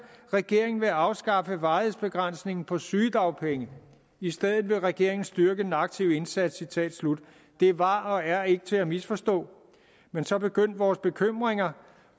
regeringen vil afskaffe varighedsbegrænsningen på sygedagpenge i stedet vil regeringen styrke den aktive indsats citat slut det var og er ikke til at misforstå men så begyndte vores bekymringer